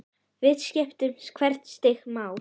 Því skiptir hvert stig máli.